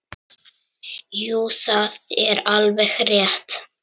Jú, það er alveg rétt.